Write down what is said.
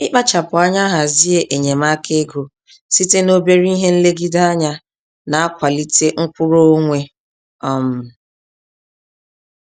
Ịkpachapụ anya hazie enyemaka ego site n'obere ihe-nlegide-anya, na kwalite mkwụrụ-onwe um